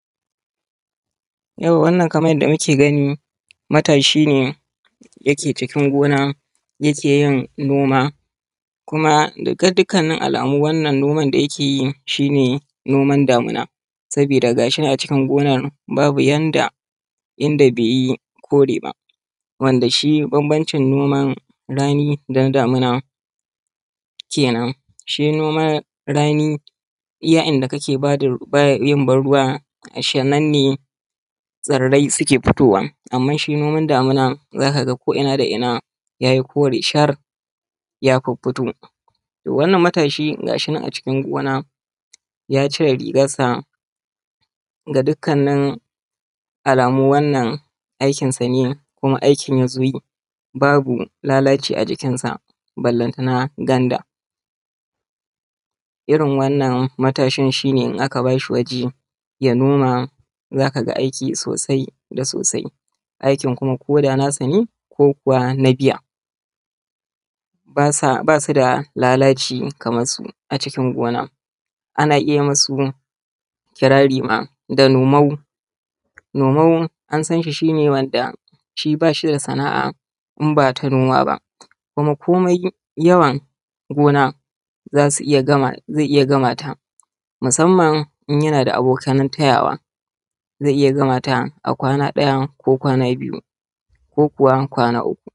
Yauwa wannan kamar yanda muke gani matashi ne yake cikin gona yake yin noma kuma ga dukkanin alamu wannan noma da yake yi shi ne noma damuna. Sabida gashi nan a cikin gona babu inda bai yi kore ba. Wanda shi bambancin noman rani da na damuna kenan. Shi noman rani iya inda kake ban ruwa ashe nan tsirai suke fitowa. Amnan shi noma damuna za kaga ko’ina da ina ya yi kore shar ya fiffito. To wannan matashi gashi nan a cikin gona ya cire rigansa, ga dukkanin alamu wannan aikinsa ne, kuma aikin ya zo yi babu lalaci a jikinsa, balantana ganda. Irin wannan matashi shi ne in aka ba shi waje ya noma za ka ga aiki sosai da sosai, aikin kuma koda nasa ne ko kuwa na biya basu da lalaci kamar su a cikin gona ana iya masu kirari ma da nomau. Nomau an san shi shi ne wanda shi ba shi da sana'a in ba ta noma ba, kuma komai yawan gona zai iya gama ta musaman in yana da abokan tayawa, zai iya gama ta a kwana ɗaya, ko kwana biyu, ko kuwa kwana uku.